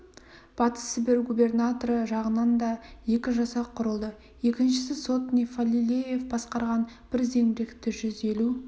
батыс сібір губернаторы жағынан да екі жасақ құрылды екіншісі сотник фалилеев басқарған бір зеңбіректі жүз елу